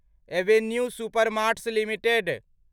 Avenue Supermarts limited